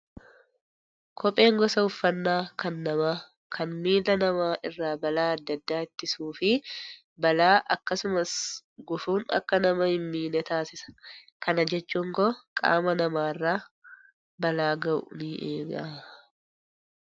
Kopheen gosa uffannaa kan namaa kan miila namaa irraa balaa adda addaa ittisuu fi balaa akkasumas gufuun akka nama hin miine taasisa. Kana jechuun koo qaama namaarra balaa gahu ni eega.